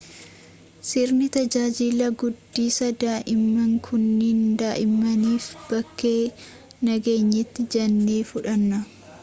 sirni tajaajila guddisaa daa'imman kunniin daa'immaniif bakkee nageenyaati jennee fudhanna